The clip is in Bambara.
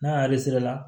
N'a y'a la